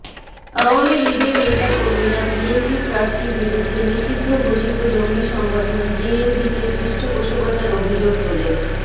আওয়ামী লীগের নেতাকর্মীরা বিএনপি প্রার্থীর বিরুদ্ধে নিষিদ্ধ ঘোষিত জঙ্গি সংগঠন জেএমবিকে পৃষ্ঠপোষকতার অভিযোগ তোলেন